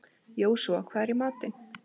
Jósúa, hvað er í matinn?